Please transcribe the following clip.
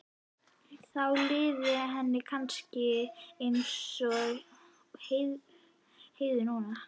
Þá liði henni kannski eins og Heiðu núna.